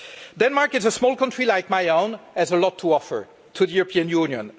Denmark, as a small country like my own, has a lot to offer to the European Union.